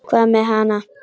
Hvað með hana?